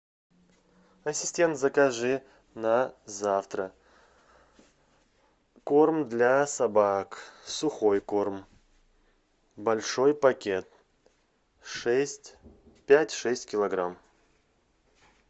ассистент закажи на завтра корм для собак сухой корм большой пакет пять шесть килограмм